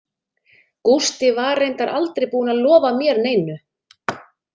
Gústi var reyndar aldrei búinn að lofa mér neinu.